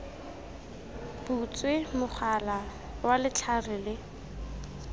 butswe mogala wa letlhare le